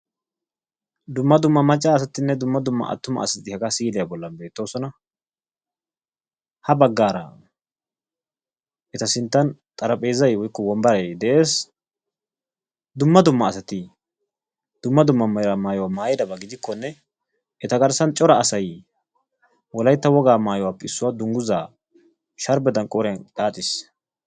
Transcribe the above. Dumma dumma macca asatine dumma dumma attuma asati haga si'iliya bollan bettosona. Ha baggara eta sintan xaraaphphezay woykko wombbaray de'ees. Dumma dumma asati dumma dumma meraa maayuwa maayidaba gidikone eta garssan cora asay wolaytta woga maayuwape issuwa dungguzza sharbbedan qoriyan xaaxiis.